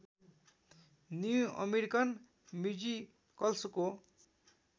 new American म्युजिकल्सको